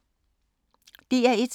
DR1